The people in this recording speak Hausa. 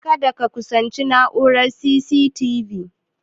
Kada ka kusanci na'urar C.C.T.V